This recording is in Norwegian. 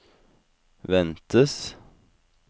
ventes